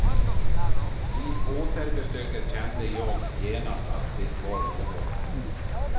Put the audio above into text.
Vid återbesöket kände jag genast att det var något.